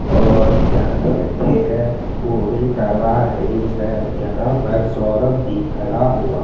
और क्या कहते हैं वो भी करवा रही है यहां पर सौरभ भी खड़ा हुआ--